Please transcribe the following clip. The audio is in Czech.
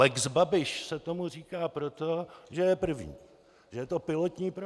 Lex Babiš se tomu říká, proto, že je první, že je to pilotní projekt.